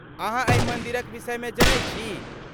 अहाँ एहि मन्दिरक विषयमे जनैत छी?